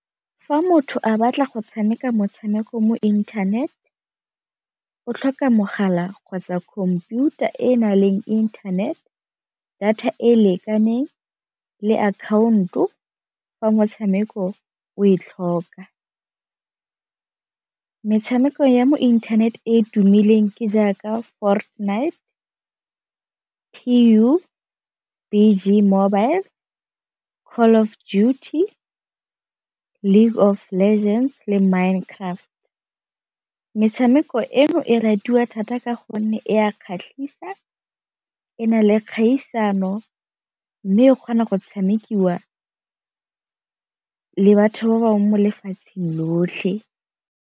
Fa motho a batla go tshameka motshameko mo internet o tlhoka mogala kgotsa khomputara e na leng internet, data e e lekaneng le akhaonto fa motshameko o e tlhoka. Metshameko ya mo internet e e tumileng ke jaaka Fortnite, P_U_B_G mobile, Call of Duty, League of Legends le Minecraft. Metshameko eno e ratiwa thata ka gonne e a kgatlhisa e na le kgaisano, mme o kgona go tshamekiwa le batho ba bangwe mo lefatsheng lotlhe.